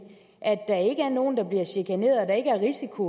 at der ikke er nogen der bliver chikaneret og at der ikke er risiko